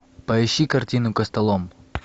поищи картину костолом